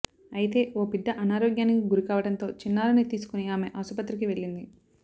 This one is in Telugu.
అయితే ఓ బిడ్డ అనారోగ్యానికి గురికావడంతో చిన్నారిని తీసుకుని ఆమె ఆస్పత్రికి వెళ్లింది